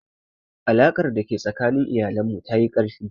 Alaƙar da ke tsakanin iyalan mu ta yi ƙarfi